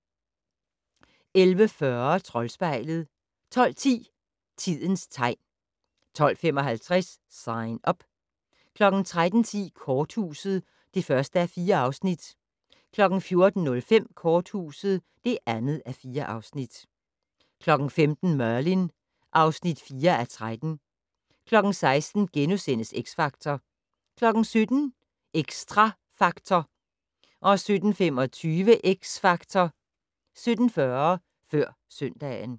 11:40: Troldspejlet 12:10: Tidens tegn 12:55: Sign Up 13:10: Korthuset (1:4) 14:05: Korthuset (2:4) 15:00: Merlin (4:13) 16:00: X Factor * 17:00: Xtra Factor 17:25: X Factor 17:40: Før søndagen